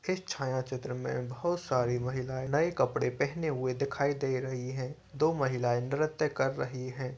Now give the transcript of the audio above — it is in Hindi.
इस छाया चित्र में बहुत सारी महिलाऐ नऐ कपड़े पहन हुए दिखाई दे रही है। दो महिला नृत्य कर रही है।